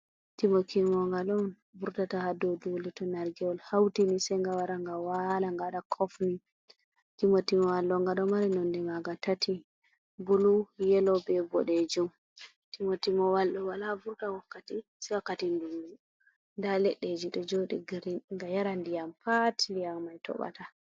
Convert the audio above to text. Timotimo ngal on vurtata ha dou dule to nargewol hauti ni sei nga wara nga waala nga waɗa kof ni. Timotimo walk ɗo nga ɗo mari nonde maga tati: bulu, yelo, be boɗejum. Timotimowal ɗo wala vurta wakkati se wakkati dungu nda leɗɗe ji ɗo joɗi nga yara ndiyam pat ndiyam mai toɓata.